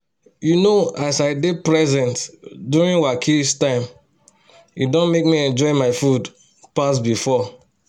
you know as i dey present during wakis time e don make me enjoy my food pass before